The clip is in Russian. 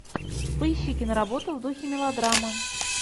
поищи киноработу в духе мелодрамы